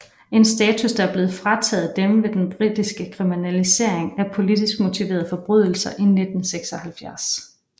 En status der var blevet frataget dem ved den britiske kriminalisering af politisk motiverede forbrydelser i 1976